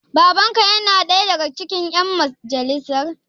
Baban ka yana ɗaya daga cikin ƴan majalisar?